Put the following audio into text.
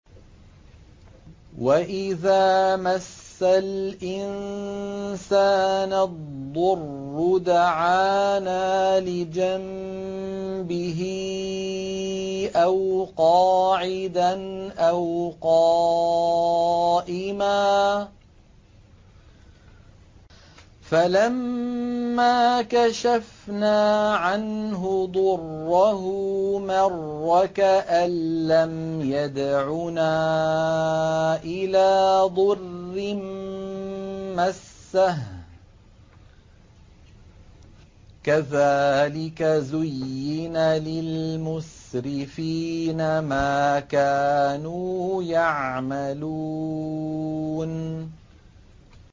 وَإِذَا مَسَّ الْإِنسَانَ الضُّرُّ دَعَانَا لِجَنبِهِ أَوْ قَاعِدًا أَوْ قَائِمًا فَلَمَّا كَشَفْنَا عَنْهُ ضُرَّهُ مَرَّ كَأَن لَّمْ يَدْعُنَا إِلَىٰ ضُرٍّ مَّسَّهُ ۚ كَذَٰلِكَ زُيِّنَ لِلْمُسْرِفِينَ مَا كَانُوا يَعْمَلُونَ